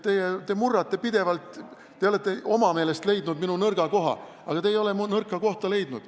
Te olete oma meelest leidnud minu nõrga koha, aga te ei ole minu nõrka kohta leidnud.